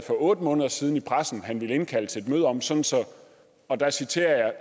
otte måneder siden i pressen ville han indkalde til et møde om sådan og der citerer jeg